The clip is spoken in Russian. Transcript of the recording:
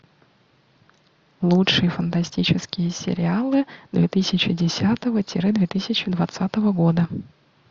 лучшие фантастические сериалы две тысячи десятого тире две тысячи двадцатого года